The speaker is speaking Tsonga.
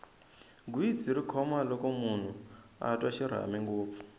gwitsi ri khoma loko munhu a twa xirhami ngopfu